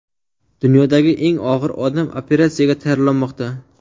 Dunyodagi eng og‘ir odam operatsiyaga tayyorlanmoqda.